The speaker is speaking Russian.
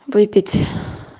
выпить